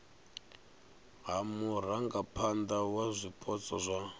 ha murangaphana wa zwipotso zwa